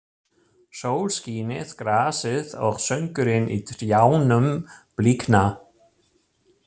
Sólskinið grasið og söngurinn í trjánum blikna.